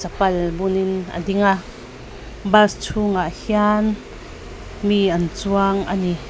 pal bunin a ding a bas chhungah hian mi an chuang a ni.